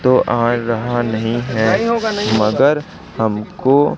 तो आ रहा नहीं है मगर हमको--